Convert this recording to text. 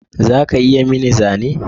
Za ka iya yi mini zane?